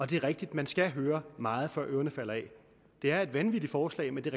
det er rigtigt at man skal høre meget før ørerne falder af det er et vanvittigt forslag men det